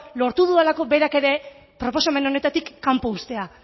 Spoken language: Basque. lortu dudalako berak ere proposamen honetatik kanpo uztea